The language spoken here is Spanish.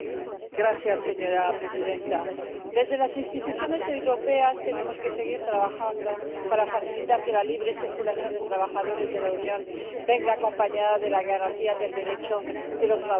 Señora presidenta, desde las instituciones europeas tenemos que seguir trabajando para facilitar que la libre circulación de trabajadores de la Unión venga acompañada de la garantía del Derecho de los trabajadores.